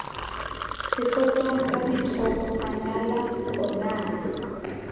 sepotong ka dithoko manala onaa